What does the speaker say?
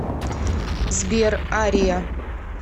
сбер ария